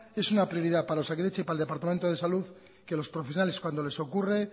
es una prioridad para osakidetza y para el departamento de salud que los profesionales cuando les ocurre